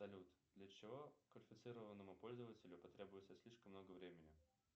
салют для чего квалифицированному пользователю потребуется слишком много времени